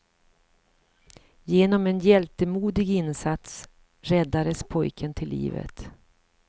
Genom en hjältemodig insats räddades pojken till livet.